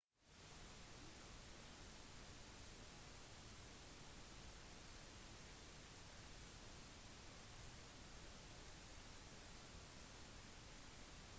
du kan få mer informasjon om tilkobling til denne tjenesten hos din lokale telefontjenesteleverandør